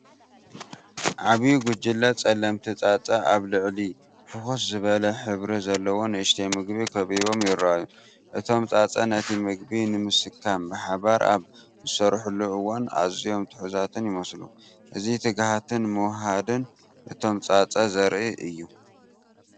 ዓቢይ ጉጅለ ጸለምቲ ጻጸ ኣብ ልዕሊ ፍኹስ ዝበለ ሕብሪ ዘለዎ ንእሽተይ ምግቢ ከቢቦም ይረኣዩ። እቶም ጻጸ ነቲ ምግቢ ንምስካም ብሓባር ኣብ ዝሰርሑሉ እዋን ኣዝዮም ትሑዛትን ይመስሉ። እዚ ትግሃትን ምውህሃድን እቶም ጻጸ ዘርኢ እዩ።